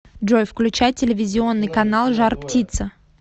джой включай телевизионный канал жар птица